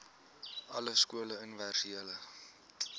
alle skole universele